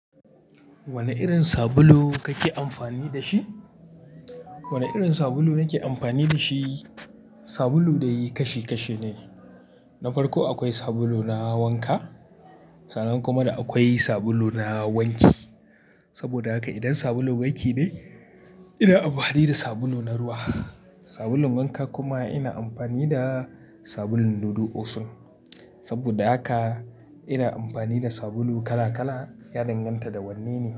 Wane irin sabulu kake amfani da shi? Wane irin sabulu nake amfani da shi, sabulu dai kashi kashi ne. Na farko akwai sabulu na wanka, sannan kuma akwai sabulu na wanki. Saboda haka idan sabulun gaki ne, ina amfani da sabulu na ruwa. Sabulun wanka kuma ina amfani da sabulun dudu osun. Saboda haka ina amfani da sabulu kala kala, ya danganta da wanne ne.